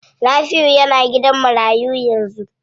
Nafiu yana gidan marayu yanzu.